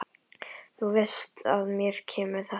Þú veist að mér kemur þetta við.